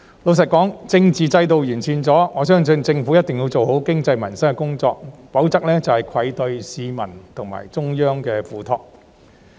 老實說，政治制度在得到完善後，我相信政府一定要做好經濟及民生的工作，否則便愧對市民及中央的託付。